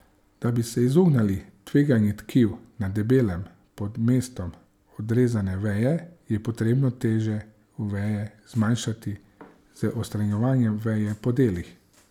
Da bi se izognili trganju tkiv na deblu pod mestom odrezane veje, je potrebno težo veje zmanjšati z odstranjevanjem veje po delih.